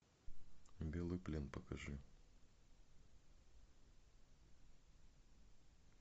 белый плен покажи